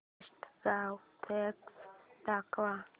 best Goa package दाखव